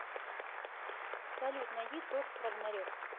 салют найди тор рагнарек